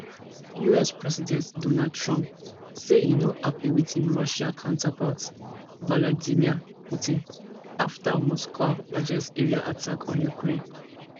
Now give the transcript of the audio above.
us president donald trump say e no happy wit im russian counterpart vladimir putin after moscow largest aerial attack on ukraine